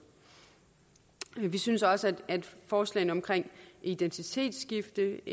vi synes også at forslagene omkring identitetsskifte